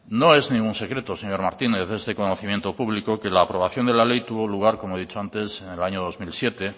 no es ningún secreto señor martínez es de conocimiento público que la aprobación de la ley tuvo lugar como he dicho antes en el año dos mil siete